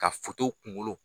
Ka kunkolo